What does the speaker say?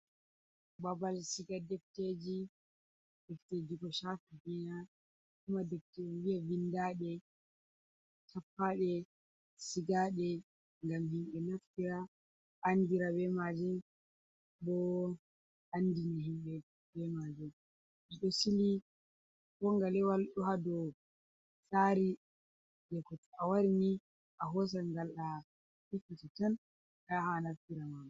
Ɓaɓal siga ɗefteji. Ɗefteji ko shafi ɗina, ko kuma ɗefter en vi'a vinɗaɗe, tappaɗe, sigaɗe, ngam himɓe naffira anɗira ɓe maje. Ɓoo anɗini himɓe ɓe majum. Ɓe ɗo sili ko ngalewal ɗo ha ɗow tsari. Je ko to awarini ahosan ngal a hippiti tan ayaha a naffira ma